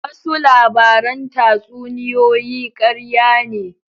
Wasu labaran tatsuniyoyi karya ne.